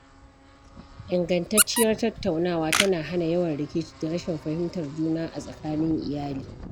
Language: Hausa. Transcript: Ingantacciyar tattaunawa tana hana yawan rikici da rashin fahimtar juna a tsakanin iyali.